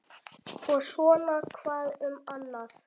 Og svona hvað um annað: